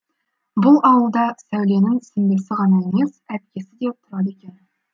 бұл ауылда сәуленің сіңлісі ғана емес әпкесі де тұрады екен